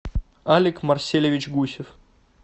алик марселевич гусев